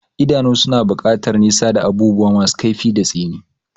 Idanu suna buƙatar nisa da abubuwa masu kaifi da tsini.